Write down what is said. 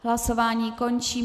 Hlasování končím.